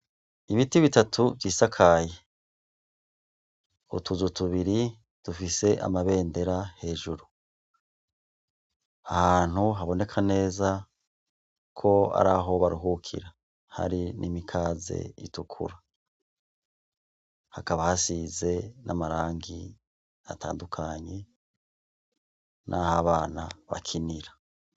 Ibiti bitatu vy'isakaye utuzu tubiri dufise amabendera hejuru ahantu haboneka neza ko ari aho baruhukira hari n'imikaze itukura hakaba hasize n'amarangi atandukanye n aho bana bakinira.